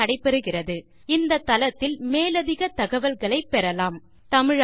மேல் விவரங்கள் இந்த லிங்க் இல் உள்ளன தமிழில் கடலூர் திவா